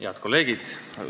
Head kolleegid!